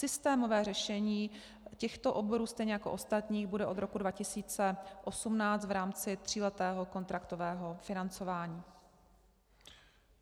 Systémové řešení těchto oborů, stejně jako ostatních, bude od roku 2018 v rámci tříletého kontraktového financování.